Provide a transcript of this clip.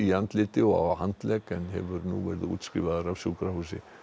andliti og á handlegg en hefur nú verið útskrifaður af sjúkrahúsi